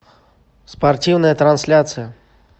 спортивная трансляция